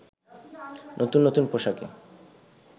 নতুন নতুন পোশাকে